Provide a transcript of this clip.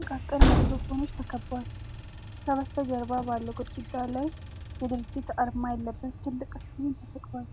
ጥቃቅን ማይክሮፎኖች ተከቧል። ከበስተጀርባ ባለው ግድግዳ ላይ የድርጅት አርማ ያለበት ትልቅ ስክሪን ተሰቅሏል።